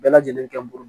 Bɛɛ lajɛlen kɛ n bolo